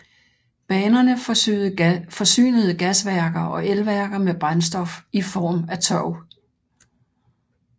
Banerne forsynede gasværker og elværker med brændstof i form af tørv